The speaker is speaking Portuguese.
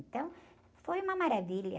Então, foi uma maravilha.